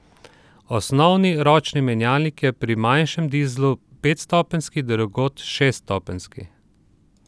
Osnovni ročni menjalnik je pri manjšem dizlu petstopenjski, drugod šeststopenjski.